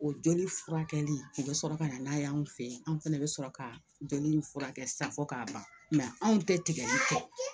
O joli furakɛli u bɛ sɔrɔ ka na n'a ye an fɛ yen an fɛnɛ bɛ sɔrɔ ka joli in furakɛ san fɔ k'a ban anw tɛ tigɛli kɛ